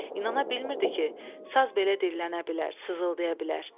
İnana bilmirdi ki, saz belə dillənə bilər, sızıldaya bilər.